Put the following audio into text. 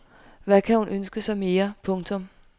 Hvad kan hun ønske sig mere. punktum